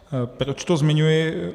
Proč to zmiňuji?